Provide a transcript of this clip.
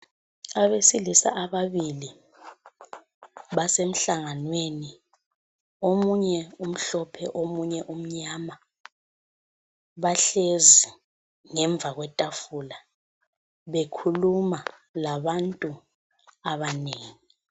Abesilisa ababili basemhlanganweni. Omunye umhlophe omunye umnyama. Bahlezi ngemva kwetafula bekhuluma labantu abanengi.